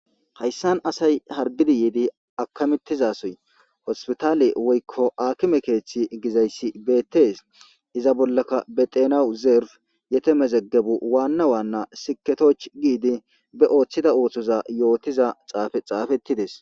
Hayssan asay yiidi akkamettiza sohoy hosputaale woykko aakime keeththi gizayssi beettes. Iza bollakka be xeenaw zerfi yetemezegebu waanna waanna sikketochchi giidi be ooththida ooththoza yootida xaafey xaafetides.